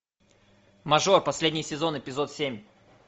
мажор последний сезон эпизод семь